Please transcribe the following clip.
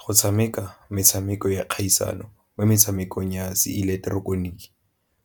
Go tshameka metshameko ya kgaisano mo metshamekong ya se